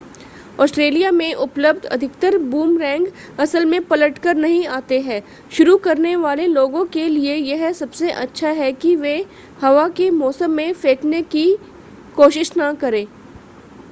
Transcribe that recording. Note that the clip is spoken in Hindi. ऑस्ट्रेलिया में उपलब्ध अधिकतर बूमरैंग असल में पलटकर नहीं आते हैं शुरू करने वाले लोगों के लिए यह सबसे अच्छा है कि वे हवा के मौसम में फेंकने की कोशिश न करें